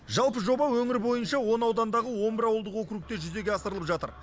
жалпы жоба өңір бойынша он аудандағы он бір ауылдық округте жүзеге асырылып жатыр